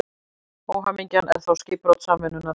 Óhamingjan er þá skipbrot samvinnunnar.